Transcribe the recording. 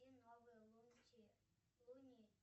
новые лунтии лунии